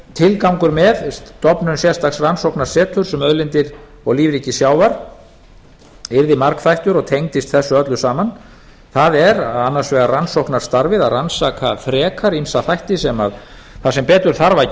tilgangur með stofnun sérstaks rannsóknarseturs um auðlindir og lífríki sjávar yrði margþættur og tengdist þessu öllu saman það er annars vegar rannsóknarstarfið að rannsaka frekar ýmsa þætti þar sem betur þarf að